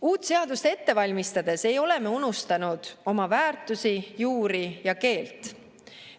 Uut seadust ette valmistades ei ole me unustanud oma väärtusi, juuri ja keelt.